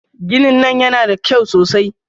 Ginin nan yana da kyau sosai.